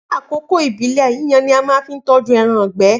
Ni akoko ibile yiyan ni a máa fi tọju ẹran igbe